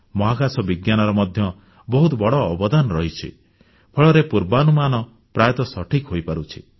ମହାକାଶ ବିଜ୍ଞାନର ମଧ୍ୟ ବହୁତ ବଡ଼ ଅବଦାନ ରହିଛି ଫଳରେ ପୂର୍ବାନୁମାନ ପ୍ରାୟତଃ ସଠିକ୍ ହୋଇପାରୁଛି